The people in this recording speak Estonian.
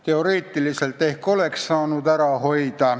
Teoreetiliselt võib-olla oleks.